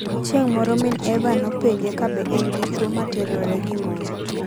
Chieng' moro min Eva nopenje kabe en dichwo ma terore gi mon.